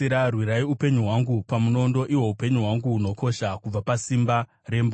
Rwirai upenyu hwangu pamunondo, ihwo upenyu hwangu hunokosha, kubva pasimba rembwa.